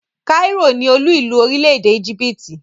kairó (cairo) ni olú ìlú orílẹ̀-èdè íjíbítì ( Egypt).